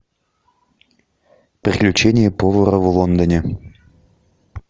приключения повара в лондоне